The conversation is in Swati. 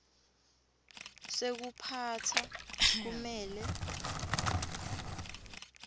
sekuphatsa kumele